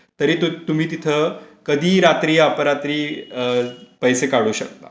तरी तुम्ही तिथ कधी रात्री अपरात्री पैसे काढू शकता.